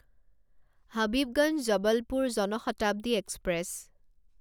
Habibganj Jabalpur Jan Shatabdi express